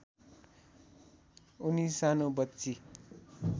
उनी सानो बच्ची